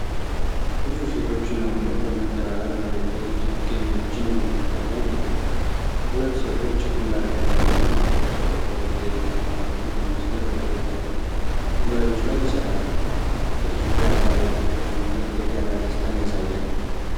ብዙ ሴቶችና ወንዶች በመተባበር መሬት ላይ ችግኞችን በመትከል ላይ ናቸው። ሁለት ሴቶች ግንባር ቀደም ሆነው አፈር ሲቆፍሩ፣ ሌሎች ከኋላ ሆነው በመስመር በተዘጋጁ ጉድጓዶች ላይ ይሰራሉ። ድርጊቱ የአካባቢ ፍቅርንና የጋራ ደስታን ያሳያል።